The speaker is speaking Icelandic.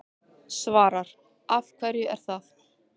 Svavar: Af hverju er það?